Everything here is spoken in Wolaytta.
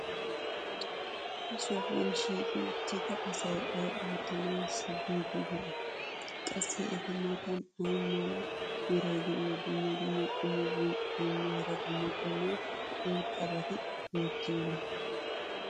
ha sohuwan shiiqi uttida asay ay ootanaassi biidi de'ii? qassi eta matan ay mala meray diyo dumma dumma qommo bonccotinne hara dumma dumma irxxabati beetiyoonaa?